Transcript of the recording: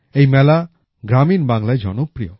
এই মেলা গ্রামীণ বাংলায় জনপ্রিয়